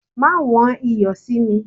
Ma wón iyo si mi!